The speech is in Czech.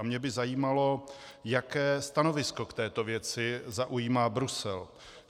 A mě by zajímalo, jaké stanovisko k této věci zaujímá Brusel.